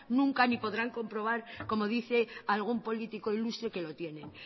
nunca ni podrán comprobar como dice algún político ilustre que lo tiene